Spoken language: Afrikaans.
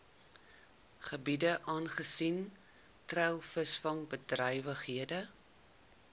gebiede aangesien treilvisvangbedrywighede